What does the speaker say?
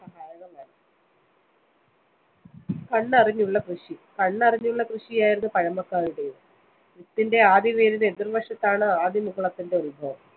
കണ്ണറിഞ്ഞുള്ള കൃഷി. കണ്ണറിഞ്ഞുള്ള കൃഷിയായിരുന്നു പഴമക്കാരുടേത്. വിത്തിന്റെ ആദ്യവേരിന് എതിര്‍വശത്താണ് ആദ്യമുകുളത്തിന്റെ ഉത്ഭവം.